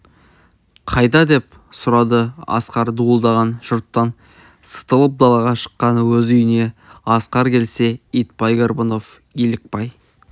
қайда деп сұрады асқар дуылдаған жұрттан сытылып далаға шыққасын өз үйіне асқар келсе итбай горбунов елікбай